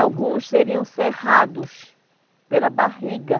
Alguns seriam cerrados pela barriga.